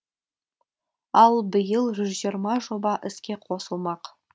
ал биыл жүз жиырма жоба іске қосылмақ